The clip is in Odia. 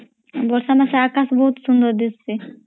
ବର୍ଷା ରେ ଅକାଶ୍ ବହୁତ୍ ସୁନ୍ଦର୍ ଦିସେ